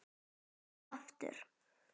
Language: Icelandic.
Enn og aftur?